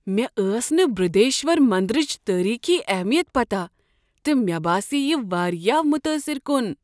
مےٚ ٲس نہٕ برٛہدیشور مندرٕچ تٲریٖخی اہمیت پتہ تہٕ مےٚ باسیٛیہ یہ واریاہ متٲثر کن۔